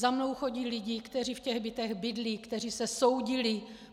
Za mnou chodí lidi, kteří v těch bytech bydlí, kteří se soudili.